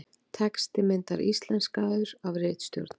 Texti myndar íslenskaður af ritstjórn.